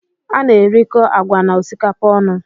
A na-erikọ agwa na osikapa ọnụ